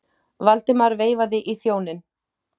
Valdimar veifaði í þjóninn.